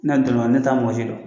Ne yɛrɛ donn'a la ne taa mɔgɔ si dɔn